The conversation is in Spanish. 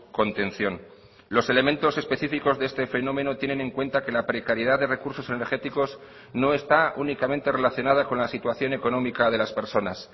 contención los elementos específicos de este fenómeno tienen en cuenta que la precariedad de recursos energéticos no está únicamente relacionada con la situación económica de las personas